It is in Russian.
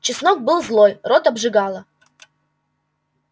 чеснок был злой рот обжигало